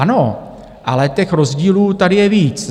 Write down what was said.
Ano, ale těch rozdílů tady je víc.